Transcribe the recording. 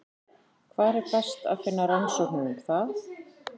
Hvar er best að finna rannsóknir um það?